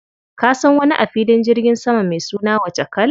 Ka san wani a filin jirgin sama mai suna Wachakal?